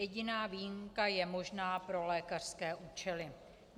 Jediná výjimka je možná pro lékařské účely.